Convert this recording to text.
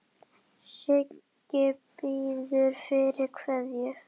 Siggi biður fyrir kveðju.